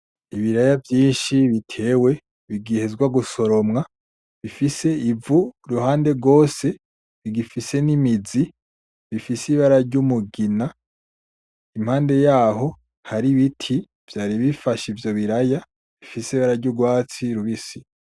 Ibiraya vyinshi bitewe bigihezwa gusoromwa, bifise ivu uruhande rwose, bigifise nimizi ifise ibara ryumugina, impande yaho haribiti vyaribifashe ivyo biraya bifise ibara ryurwatsi rubisi.